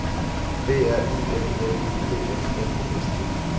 B R Y L L U P S F E S T